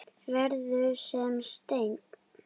Verður sem steinn.